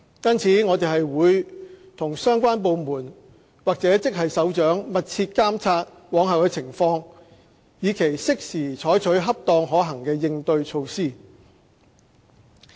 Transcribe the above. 因此，我們會與相關部門或職系首長密切監察往後的情況，以期適時採取恰當可行的應對措施。